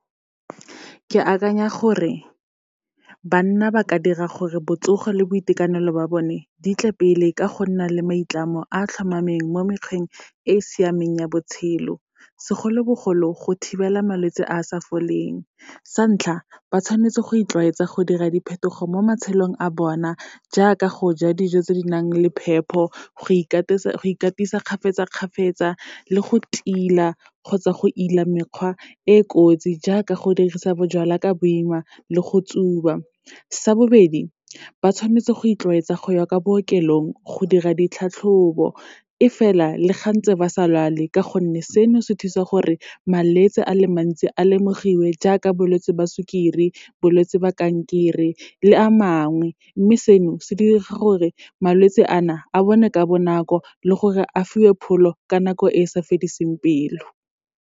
Ke akanya gore, banna ba ka dira gore botsogo le boitekanelo ba bone di tle pele ka go nna le maitlamo a tlhomameng mo mekgweng e e siameng ya botshelo, segolobogolo go thibela malwetse a a sa foleng. Sa ntlha, ba tshwanetse go itlwaetsa go dira diphetogo mo matshelong a bona, jaaka go ja dijo tse di nang le phepo, go ikatisa kgafetsa-kgafetsa, le go tila kgotsa go ile mekgwa e e kotsi, jaaka go dirisa bojalwa ka boima le go tsuba. Sa bobedi, ba tshwanetse go itlwaetsa go ya kwa bookelong go dira ditlhatlhobo, e fela le ga ntse ba sa lwale, ka gonne seno se thusa gore, malwetse a le mantsi a lemogiwe, jaaka bolwetse jwa sukiri, bolwetse ba kankere le a mangwe. Mme seno, se dira gore malwetse a na, a bonwe ka bonako le gore a fiwe pholo, ka nako e e sa fediseng pelo.